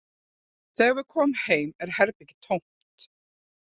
Þegar við komum heim er herbergið tómt